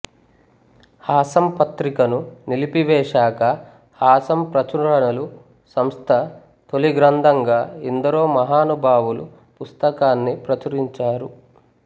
హాసం పత్రికను నిలిపివేశాకా హాసం ప్రచురణలు సంస్థ తొలి గ్రంథంగా ఎందరో మహానుభావులు పుస్తకాన్ని ప్రచురించారు